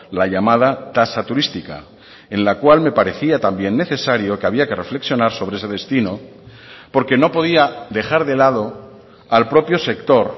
la llamada tasa turística en la cual me parecía también necesario que había que reflexionar sobre ese destino porque no podía dejar de lado al propio sector